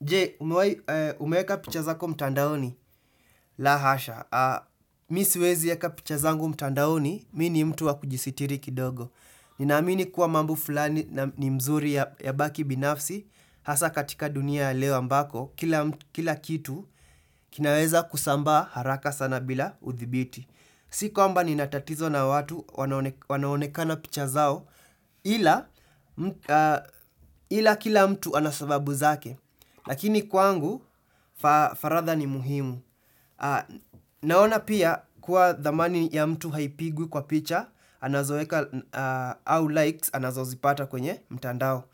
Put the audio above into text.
Jee, umeeka picha zako mtandaoni? La hasha. Mimi siwezi eka picha zangu mtandaoni, mimi ni mtu wa kujisitiri kidogo. Ninaamini kuwa mambo fulani ni mzuri yabaki binafsi, hasa katika dunia ya leo ambako, kila kitu kinaweza kusambaa haraka sana bila uthibiti. Si kwamba nina tatizo na watu wanaonekana picha zao ila kila mtu ana sababu zake. Lakini kwangu faragha ni muhimu. Naona pia kuwa thamani ya mtu haipigwi kwa picha, anazoeka au likes anazozipata kwenye mtandao.